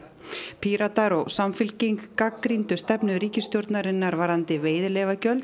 Píratar og Samfylking gagnrýndu stefnu ríkisstjórnarinnar um veiðileyfagjöld